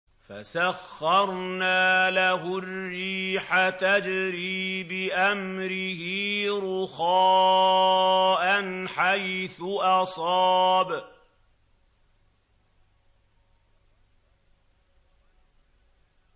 فَسَخَّرْنَا لَهُ الرِّيحَ تَجْرِي بِأَمْرِهِ رُخَاءً حَيْثُ أَصَابَ